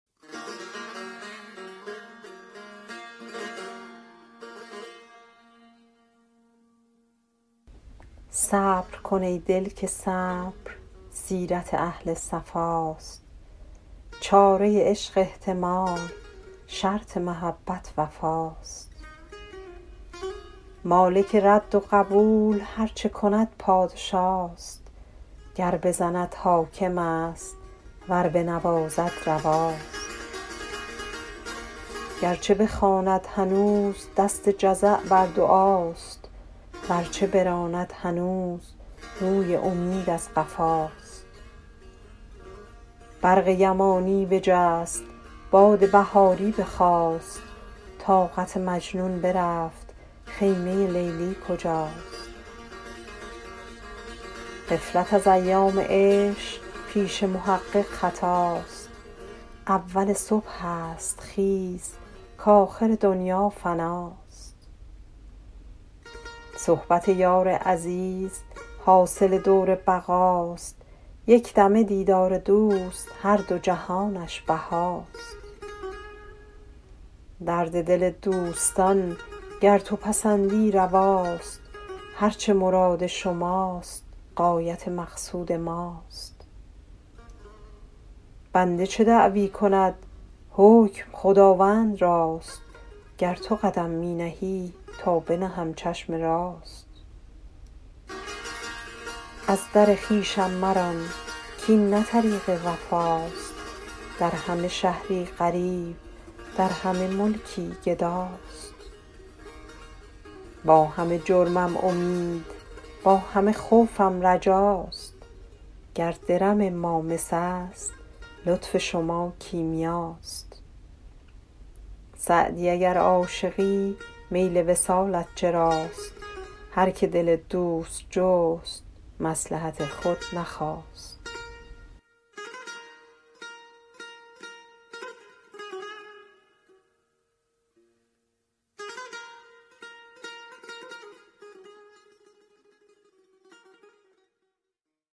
صبر کن ای دل که صبر سیرت اهل صفاست چاره عشق احتمال شرط محبت وفاست مالک رد و قبول هر چه کند پادشاست گر بزند حاکم است ور بنوازد رواست گر چه بخواند هنوز دست جزع بر دعاست ور چه براند هنوز روی امید از قفاست برق یمانی بجست باد بهاری بخاست طاقت مجنون برفت خیمه لیلی کجاست غفلت از ایام عشق پیش محقق خطاست اول صبح است خیز کآخر دنیا فناست صحبت یار عزیز حاصل دور بقاست یک دمه دیدار دوست هر دو جهانش بهاست درد دل دوستان گر تو پسندی رواست هر چه مراد شماست غایت مقصود ماست بنده چه دعوی کند حکم خداوند راست گر تو قدم می نهی تا بنهم چشم راست از در خویشم مران کاین نه طریق وفاست در همه شهری غریب در همه ملکی گداست با همه جرمم امید با همه خوفم رجاست گر درم ما مس است لطف شما کیمیاست سعدی اگر عاشقی میل وصالت چراست هر که دل دوست جست مصلحت خود نخواست